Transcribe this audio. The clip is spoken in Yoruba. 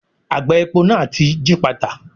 Àgbá epo náà ti gípàtà.